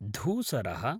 धूसरः